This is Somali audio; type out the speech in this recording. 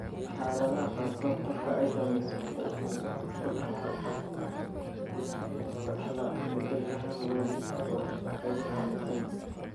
Xaaladaha qaarkood, qofka ay saamaysay waxa uu ka dhaxlaa beddelka hal waalid oo ay saamaysay.